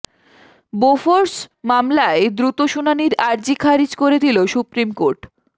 Bofors মামলায় দ্রুত শুনানির আর্জি খারিচ করে দিল সুপ্রিম কোর্ট